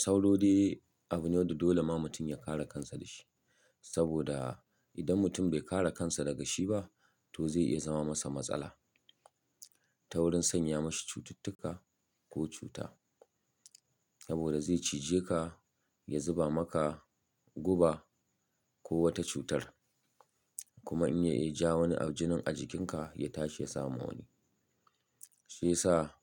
Sauro dai abu ne wanda dole ma mutum ya kare kansa da shi. Saboda idan mutum bai kare kansa daga shi ba to zai iya zama masa matsala ta wurin sanya ma shi cututtuka ko cuta. Saboda zai cije ka, ya zuba maka guba ko wata cutar. Kuma in ya iya ja wani jinin a jikinka ya tashi ya sa ma wani. Shi ya sa